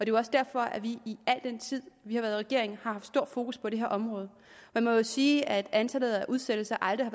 jo også derfor at vi i al den tid vi har været i regering har haft stort fokus på det her område man må jo sige at antallet af udsættelser aldrig